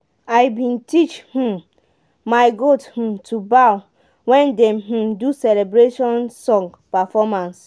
i been teach um my goat um to bow wen dem um do celebration song performance.